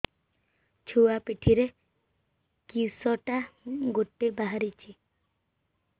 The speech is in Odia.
ଛୁଆ ପିଠିରେ କିଶଟା ଗୋଟେ ବାହାରିଛି